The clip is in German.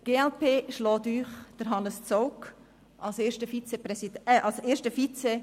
Die glp schlägt Ihnen Hannes Zaugg als ersten Vizepräsidenten vor.